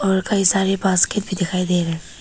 कई सारे बास्केट भी दिखाई दे रहे हैं।